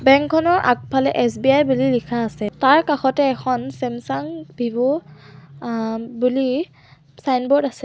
Bank খনৰ আগফালে S B I বুলি লিখা আছে তাৰ কাষতে এখন ছেমচাং ভিভো অ বুলি ছাইনব'ৰ্ড আছে।